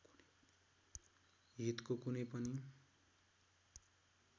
हितको कुनै पनि